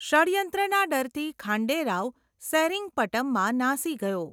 ષડ્યંત્રના ડરથી, ખાંડે રાવ સેરિંગપટમમાં નાસી ગયો.